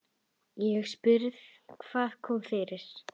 Ég spurði: Hvað kom fyrir?